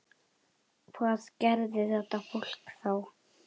Hvað gerði þetta fólk þá?